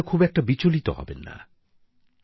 আপনারা খুব একটা বিচলিত হবেন না